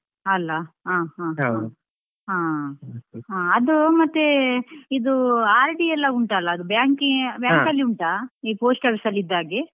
ಅಲಾ ಹಾ ಹಾ ಹಾ, ಅದು ಮತ್ತೆ ಇದು RD ಎಲ್ಲ ಉಂಟಲ್ಲ ಅದು bank ಅಲ್ಲಿ ಉಂಟಾ ಈ post office ಅಲ್ಲಿ ಇದ್ದ ಹಾಗೆ.